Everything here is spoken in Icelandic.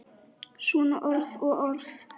Svona orð og orð.